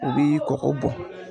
U bi kɔgɔ bɔn.